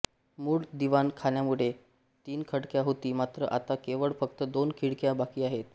मूळ दिवाणखान्याकडे तीन खिडक्या होती मात्र आता केवळ फक्त दोन खिडक्या बाकी आहेत